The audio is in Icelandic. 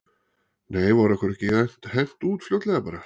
Nei var okkur ekki hent út fljótlega bara?